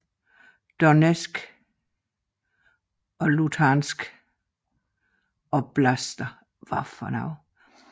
Donetsk og Luhansk oblaster udgør sammen med Rostov oblast en europæisk grænseregion